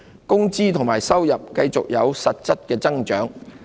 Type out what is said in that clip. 工資及收入繼續有實質增長。